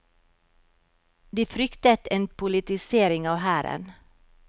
De fryktet en politisering av hæren.